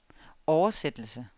oversættelse